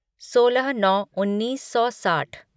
सोलह नौ उन्नीस सौ साठ